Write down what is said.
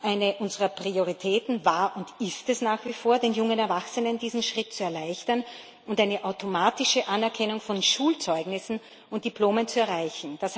Eine unserer Prioritäten war und ist es, den jungen Erwachsenen diesen Schritt zu erleichtern und eine automatische Anerkennung von Schulzeugnissen und Diplomen zu erreichen.